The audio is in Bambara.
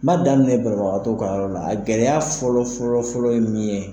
N' daminɛ banabagatɔw ka yɔrɔ la, a gɛlɛya fɔlɔ fɔlɔ fɔlɔ ye min ye